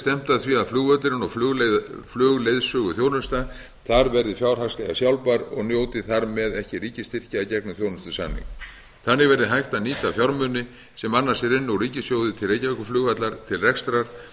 stefnt að því að flugvöllurinn og flugleiðsöguþjónusta þar verði fjárhagslega sjálfbær og njóti þar með ekki ríkisstyrkja í gegnum þjónustusamning þannig verði hægt að nýta fjármuni sem annars rynnu úr ríkissjóði til reykjavíkurflugvallar til rekstrar